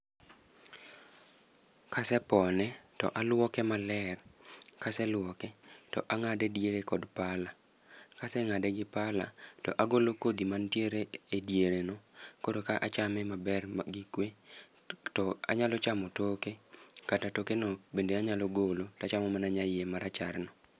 Kasepone, to alwoke maler. Kaseluoke to angáde diere kod pala. Ka asengáde gi pala, to agolo kodhi mantiere e diere no. Koro ka achame maber gi kwe. To anyalo chamo toke, kata toke no be anyalo golo, to achamo mana nyaie ma racharno.